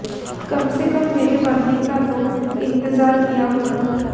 कम से कम मेरे मरने का तो इन्तजार किया होता